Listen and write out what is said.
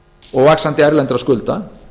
og vaxandi erlendra skulda